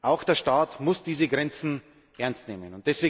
Auch der Staat muss diese Grenzen ernst nehmen.